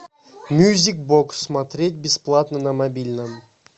мьюзик бокс смотреть бесплатно на мобильном